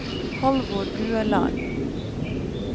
Halvor Ueland